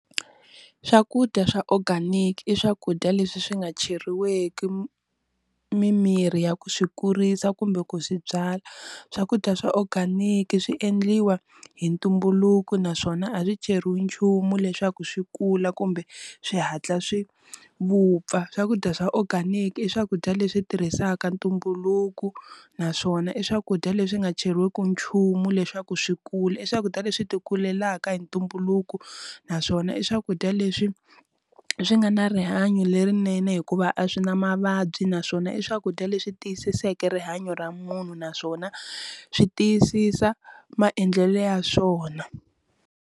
Swakudya swa organic i swakudya leswi swi nga cheriweki mimirhi ya ku swi kurisa kumbe ku swi byala, swakudya swa organic swi endliwa hi ntumbuluko naswona a ri cheriwi nchumu leswaku swi kula kumbe swi hatla swi vupfa, swakudya swa organic i swakudya leswi tirhisaka ntumbuluko naswona i swakudya leswi nga cheriweki nchumu leswaku swi kula i swakudya leswi ti kulelaka hi ntumbuluko, naswona i swakudya leswi swi nga na rihanyo lerinene hikuva a swi na mavabyi naswona i swakudya leswi tiyisiseke rihanyo ra munhu naswona swi tiyisisa maendlelo ya swona.